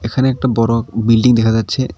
এখানে একটা বড় বিল্ডিং দেখা যাচ্ছে